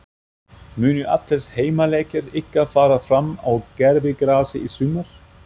Munu allir heimaleikir ykkar fara fram á gervigrasi í sumar?